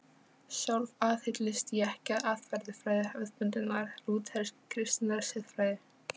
Sjálf aðhyllist ég ekki aðferðafræði hefðbundinnar lúthersk-kristinnar siðfræði.